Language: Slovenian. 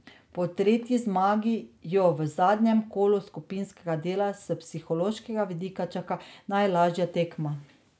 Po tretji zmagi jo v zadnjem kolu skupinskega dela s psihološkega vidika čaka najlažja tekma.